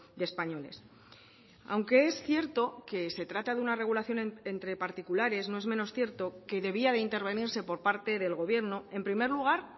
de españoles aunque es cierto que se trata de una regulación entre particulares no es menos cierto que debía de intervenirse por parte del gobierno en primer lugar